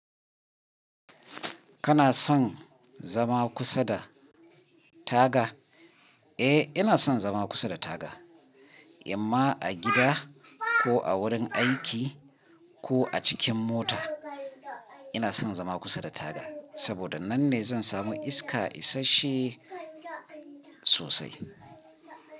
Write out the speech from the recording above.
Kana son zama kusa da taga? Eh, ina son zama kusa da taga, imma a gida ko a wurin aiki ko a cikin mota. Ina son zama kusa da taga, saboda nan ne zan samu iska isashe sosai.